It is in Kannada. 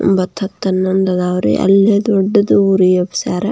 ಒಂಬತು ಹತ್ತು ಹನ್ನೊಂದು ಇದಾವೆ ರೀ ಅಲ್ಲಿ ದೊಡ್ಡದು ಒರಿ ಹಬ್ಬಸಾರ.